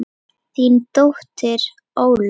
Þín dóttir Ólöf.